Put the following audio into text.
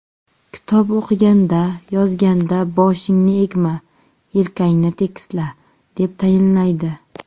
Kitob o‘qiganda, yozganda boshingni egma, yelkangni tekisla”, deb tayinlaydi.